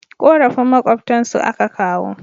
Korafin makwabtan su a ka kawo